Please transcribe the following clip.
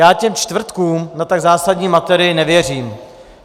Já těm čtvrtkům na tak zásadní matérii nevěřím.